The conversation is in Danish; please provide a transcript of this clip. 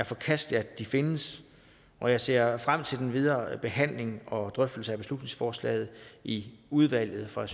forkasteligt at de findes og jeg ser frem til den videre behandling og drøftelse af beslutningsforslaget i udvalget for